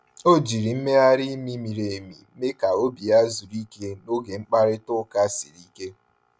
O jiri mmegharị imi miri emi mee ka obi ya zuru ike n’oge mkparịta ụka siri ike.